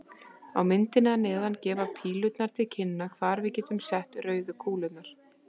Á myndinni að neðan gefa pílurnar til kynna hvar við getum sett rauðu kúlurnar.